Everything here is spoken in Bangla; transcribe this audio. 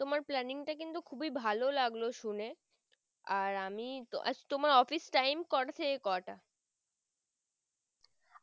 তোমার planning টা কিন্তু খুবই ভালো লাগলো শুনে আর আমি আচ্ছা তোমার office time কোটা থেকে কোটা।